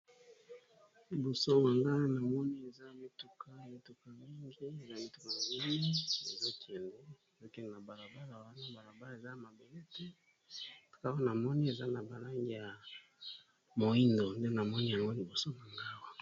Na elili oyo tozali komona mituka mingi ya kitoko elandani na balabala ya leta eza na langi ya mwindu